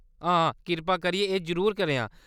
हां, कृपा करियै एह् जरूर करेआं।